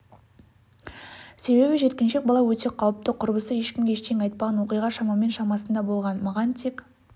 себебі жеткіншек бала өте қауіпті құрбысы ешкімге ештеңе айтпаған оқиға шамамен шамасында болған маған тек